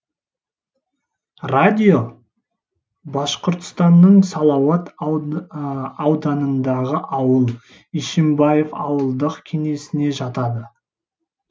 радио башқұртстанның салауат ауданындағы ауыл ишимбаев ауылдық кеңесіне жатады